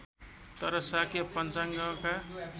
तर शाक्य पञ्चाङ्गका